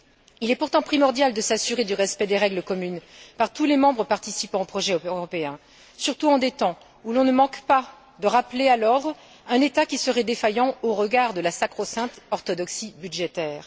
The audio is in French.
Il est pourtant primordial de s'assurer du respect des règles communes par tous les membres participant au projet européen, surtout en des temps où l'on ne manque pas de rappeler à l'ordre un État qui serait défaillant au regard de la sacro sainte orthodoxie budgétaire.